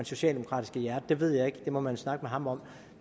socialdemokratiske hjerte det ved jeg ikke det må man jo snakke med ham om